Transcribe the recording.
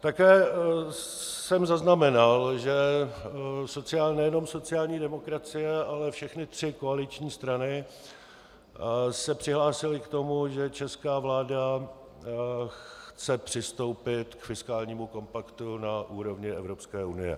Také jsem zaznamenal, že nejenom sociální demokracie, ale všechny tři koaliční strany se přihlásily k tomu, že česká vláda chce přistoupit k fiskálnímu kompaktu na úrovni Evropské unie.